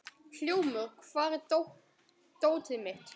Hljómur, hvar er dótið mitt?